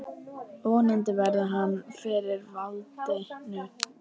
Vonandi verður hann fyrir valinu.